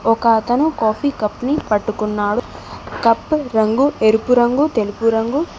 ఒక అతను coffee cup ని పట్టుకున్నాడు కప్పు రంగు ఎరుపు రంగు తెలుపు రంగు.